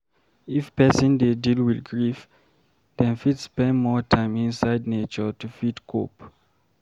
if person dey deal with grief, dem fit spend more time inside nature to fit cope